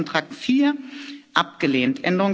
Änderungsantrag 4 abgelehnt